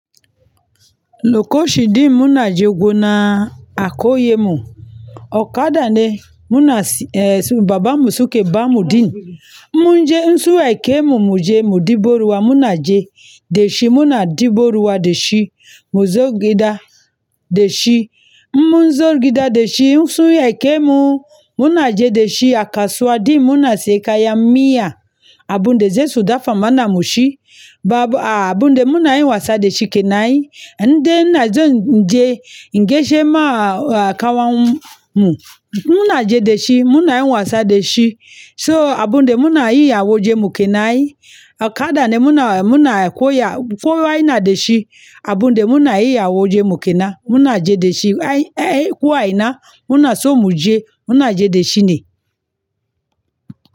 Loko shi ɗin muna je gona a koyemu. Okada ne muna eh babanmu suke bamu ɗin. In mun je in sun aike mu mu je ɗibo ruwa muna je dashi muna ɗebo ruwa da shi mu zo gida dashi munzo gida da shi in sun aike mu muna je da shi a kasuwa ɗin muna siye kayan miya. Abunda za su dafa mana mu ci. Ba a abunda muna yin wasa da shi kenan. In dai ina zan je in gaishe ma a kawan mu. Muna je da shi muna yin wasa da shi. To abinda muna yi a wajenmu kenan ai okada ne muna muna koya, kowa yana dashi abunda muna yi a wajen mu kenan. Muna je da shi ai ai ko aina muna so mu je muna je da shi ne.